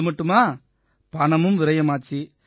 அது மட்டுமா பணமும் விரயமாச்சு